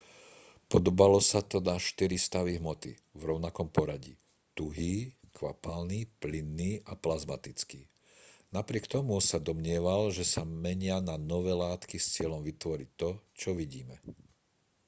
podobalo sa to na štyri stavy hmoty v rovnakom poradí: tuhý kvapalný plynný a plazmatický. napriek tomu sa domnieval že sa menia na nové látky s cieľom vytvoriť to čo vidíme